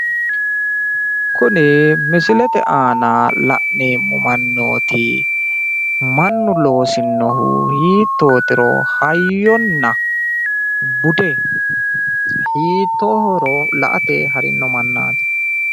kuni misilete aana la'neemmo mannooti mannu loosinohu hiittootiro hayyonna bude hiittoohoro la''ate harino mannaati.